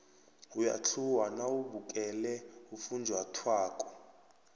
uyathluwa nawubukele ufunjathwako